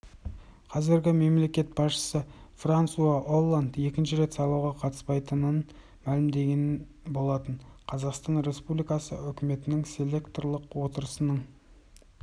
қазіргі мемлекет басшысы франсуа олланд екінші рет сайлауға қатыспайтынын мәлімдеген болатын қазақстан республикасы үкіметінің селекторлық отырысының